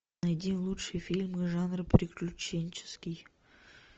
найди лучшие фильмы жанра приключенческий